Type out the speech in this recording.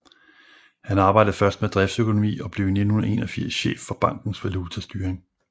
Han arbejdede først med driftsøkonomi og blev i 1981 chef for bankens valutastyring